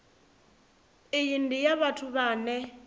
iyi ndi ya vhathu vhane